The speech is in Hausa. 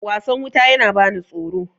wasan wuta yana bani tsoro